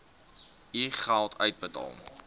u geld uitbetaal